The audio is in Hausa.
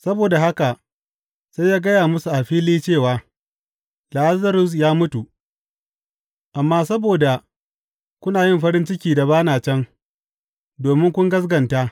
Saboda haka sai ya gaya musu a fili cewa, Lazarus ya mutu, amma saboda ku na yi farin ciki da ba na can, domin ku gaskata.